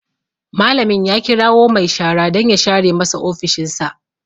Malamin ya kirawo mai shara dan ya share masa ofishin sa